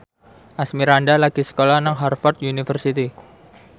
Asmirandah lagi sekolah nang Harvard university